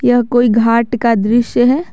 यह कोई घाट का दृश्य है।